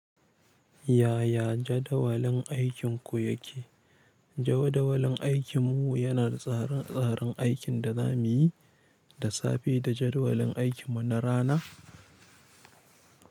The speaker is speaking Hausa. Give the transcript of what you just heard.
Yaya jadawalin aikinku yake? Jawadawalin aikinmu yana da tsarin tsarin aikin da za mu yi da safe da jadawalin aikinmu na rana.